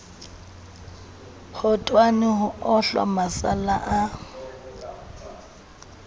khotone ho ohla masalla a